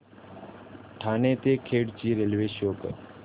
ठाणे ते खेड ची railway show करा